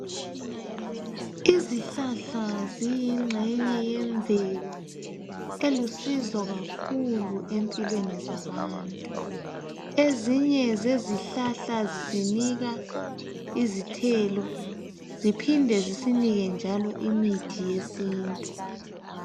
Izihlahla ziyingxenye yemvelo elusizo kakhulu empilweni zabantu. Ezinye zezihlahla zisinika izithelo ziphinde zisinike njalo imithi yesintu.